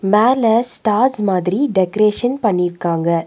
மேல ஸ்டார்ஸ் மாதிரி டெக்ரேசன் பண்ணிருக்காங்க.